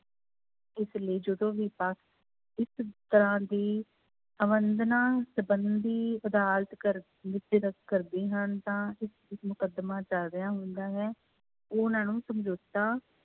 ਇਸ ਲਈ ਜਦੋਂ ਵੀ ਇਸ ਤਰ੍ਹਾਂ ਦੀ ਅਵੇਦਨਾ ਸੰਬੰਧੀ ਅਦਾਲਤ ਕਰ ਵਿੱਚ ਕਰਦੇ ਹਨ ਤਾਂ ਮੁਕੱਦਮਾ ਚੱਲ ਰਿਹਾ ਹੁੰਦਾ ਹੈ ਉਹਨਾਂ ਨੂੰ ਸਮਝੋਤਾ